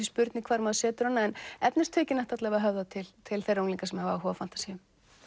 spurning hvar maður setur hana en efnistökin ættu alla vega að höfða til til þeirra unglinga sem hafa áhuga á fantasíum